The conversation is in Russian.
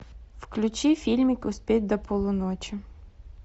включи фильмик успеть до полуночи